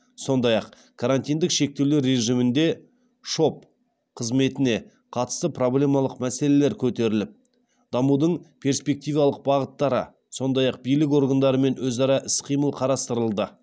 сондай ақ карантиндік шектеулер режиміндегі шоб қызметіне қатысты проблемалық мәселелер көтеріліп дамудың перспективалық бағыттары сондай ақ билік органдарымен өзара іс қимыл қарастырылды